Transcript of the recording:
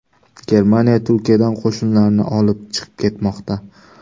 Germaniya Turkiyadan qo‘shinlarini olib chiqib ketmoqda.